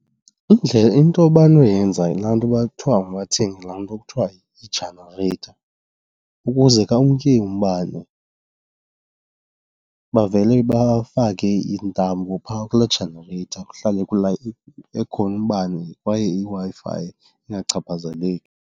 Into abanoyenza yilaa nto uba kuthiwa mabathenge laa nto kuthiwa yijanareyitha ukuze ka kumke umbane bavele bafake intambo phaa kulaa janareyitha kuhlale ekhona umbane kwaye iWi-Fi ingachaphazeleki.